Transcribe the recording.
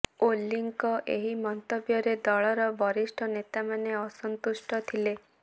ଓଲିଙ୍କ ଏହି ମନ୍ତବ୍ୟରେ ଦଳର ବରିଷ୍ଠ ନେତାମାନେ ଅସନ୍ତୁଷ୍ଟ ଥିଲେ